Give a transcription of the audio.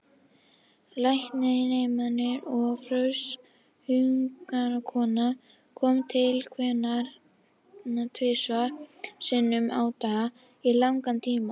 Læknaneminn og frönsk hjúkrunarkona komu til hennar tvisvar sinnum á dag í langan tíma.